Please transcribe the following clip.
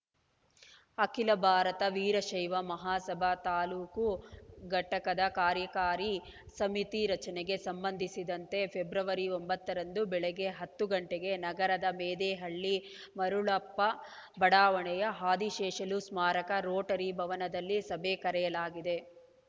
ಅಖಿಲ ಭಾರತ ವೀರಶೈವ ಮಹಾಸಭಾ ತಾಲೂಕು ಘಟಕದ ಕಾರ್ಯಕಾರಿ ಸಮಿತಿ ರಚನೆಗೆ ಸಂಬಂಧಿಸಿದಂತೆ ಫೆಬ್ರವರಿ ಒಂಬತ್ತರಂದು ಬೆಳಗ್ಗೆ ಹತ್ತು ಗಂಟೆಗೆ ನಗರದ ಮೆದೇಹಳ್ಳಿ ಮರುಳಪ್ಪ ಬಡಾವಣೆಯ ಆದಿಶೇಷಲು ಸ್ಮಾರಕ ರೋಟರಿ ಭವನದಲ್ಲಿ ಸಭೆ ಕರೆಯಲಾಗಿದೆ